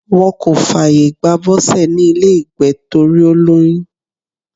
Wọ́n kò fààyè gba Bose ní ilé ìgbé torí ó lóyún.